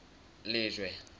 lejwe